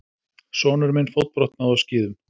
Sonur minn fótbrotnaði á skíðum.